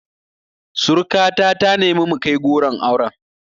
Surika ta ta nemi mu kai goron auren